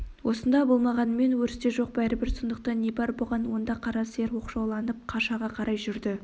осында болмағанымен өрісте жоқ бәрібір сондықтан не бар бұған онда қара сиыр оқшауланып қашаға қарай жүрді